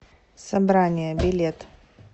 собрание билет